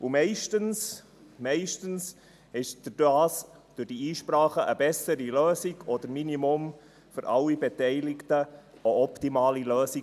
Meistens entstand durch diese Einsprachen eine bessere Lösung oder zumindest eine für alle Beteiligten optimale Lösung.